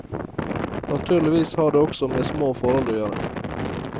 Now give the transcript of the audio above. Naturligvis har det også med små forhold å gjøre.